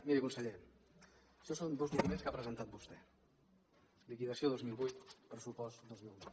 miri conseller això són dos documents que ha presentat vostè liquidació dos mil vuit pressupost dos mil nou